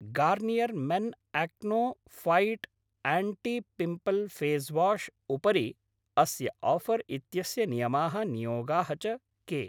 Garnier men acno fight anti pimple face wash उपरि अस्य offer इत्यस्य नियमाः नियोगाः च के?